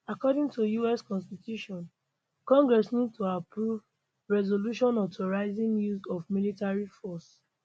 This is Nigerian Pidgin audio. according to us constitution congress need to approve resolutions authorizing use of military force